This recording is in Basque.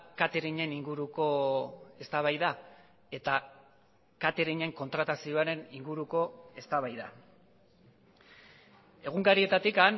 cateringen inguruko eztabaida eta cateringen kontratazioaren inguruko eztabaida egunkarietatik